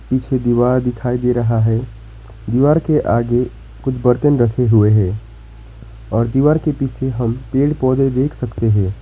पीछे दीवार दिखाई दे रहा है दीवार के आगे कुछ बर्तन रखे हुए हैं और दीवार के पीछे हम पेड़ पौधे देख सकते हैं।